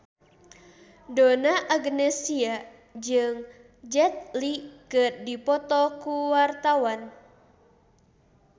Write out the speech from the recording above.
Donna Agnesia jeung Jet Li keur dipoto ku wartawan